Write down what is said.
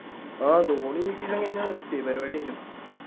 ആഹ് ധോണി ഈ season കഴിഞ്ഞാ നിർത്തി പരിപാടി കഴിഞ്ഞു